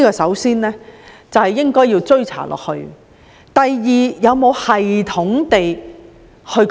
首先，必須不斷追查。第二，有否有系統地追查？